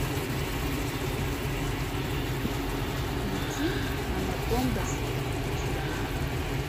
включи анакондаз член